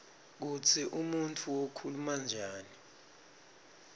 kutsi umuntfu ukhula njani